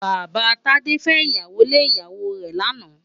Baba Tade fè iyálé lé iyáwó rè làná